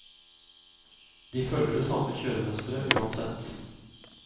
De følger det samme kjøremønsteret uansett.